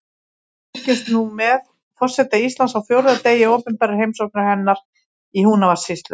Við fylgjumst nú með forseta Íslands á fjórða degi opinberrar heimsóknar hennar í Húnavatnssýslu.